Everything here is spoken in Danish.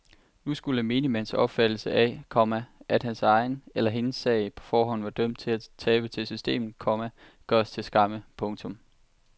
Nu skulle menigmands opfattelse af, komma at hans eller hendes sag på forhånd var dømt til at tabe til systemet, komma gøres til skamme. punktum